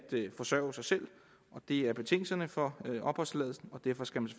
forsørge sig selv det er betingelserne for opholdstilladelsen og derfor skal vi